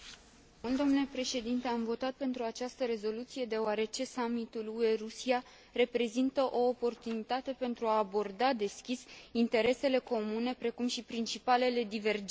Am votat pentru această rezoluție, deoarece Summitul UE Rusia reprezintă o oportunitate pentru a aborda deschis interesele comune, precum și principalele divergențe.